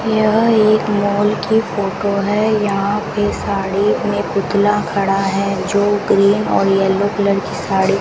यह एक मॉल की फोटो है यहां पे साड़ी में पुतला खड़ा है जो ग्रीन और येलो कलर की साड़ी --